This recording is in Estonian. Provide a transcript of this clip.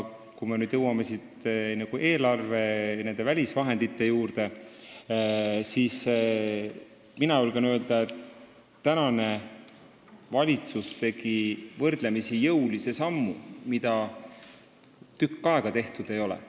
Kui me nüüd jõuame välisvahendite juurde, siis mina julgen öelda, et tänane valitsus tegi võrdlemisi jõulise sammu, mida tükk aega tehtud ei ole.